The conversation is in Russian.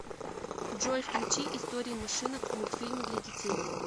джой включи истории машинок мультфильмы для детей